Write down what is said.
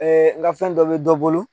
n ka fɛn dɔ bɛ dɔ bolo